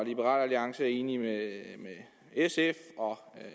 liberal alliance er enig med sf og